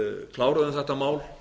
kláruðum þetta mál